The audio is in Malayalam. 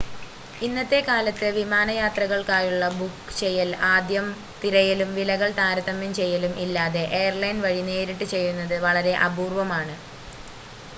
ഇന്നത്തെ കാലത്ത് വിമാന യാത്രകൾക്കായുള്ള ബുക്ക് ചെയ്യൽ ആദ്യം തിരയലും വിലകൾ താരതമ്യം ചെയ്യലും ഇല്ലാതെ എയർലൈൻ വഴി നേരിട്ട് ചെയ്യുന്നത് വളരെ അപൂർവമാണ്